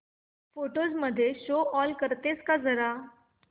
photos मध्ये show all करतेस का जरा